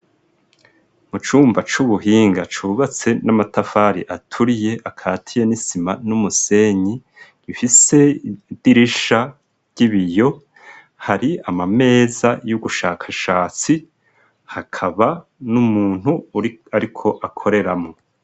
Mu cumba c'ubuhinga cubatse n'amatafari aturiye akatiye n'isima n'umusenyi, gifise idirisha ry'ibiyo, hari amameza y'ubushakashatsi hakaba n'umuntu ariko akoreramwo.